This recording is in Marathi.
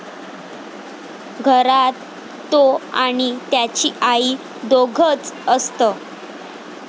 घरात तो आणि त्याची आई दोघंच असत.